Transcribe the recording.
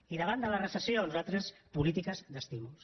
i davant la recessió nosaltres polítiques d’estímuls